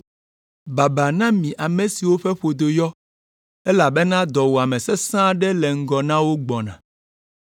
Babaa na mi ame siwo ƒe ƒodo yɔ, elabena dɔwuame sesẽ aɖe le ŋgɔ na wo gbɔna.